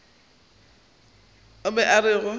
o be a re go